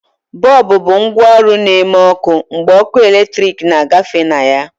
Bọlbụ bụ ngwaọrụ na-eme ọkụ mgbe ọkụ eletrik na-agafe na ya.